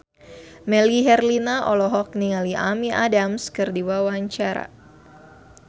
Melly Herlina olohok ningali Amy Adams keur diwawancara